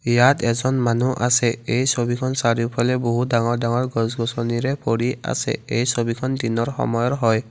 ইয়াত এজন মানুহ আছে এই ছবিখন চাৰিওফালে বহুতো ডাঙৰ ডাঙৰ গছ-গছনিৰে ভৰি আছে এই ছবিখন দিনৰ সময়ৰ হয়।